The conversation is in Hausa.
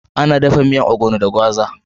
Ana dafa miyan onugbo da gwaza.